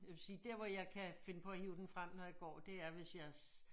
Jeg vil sige dér hvor jeg kan finde på at hive den frem når jeg går det er hvis jeg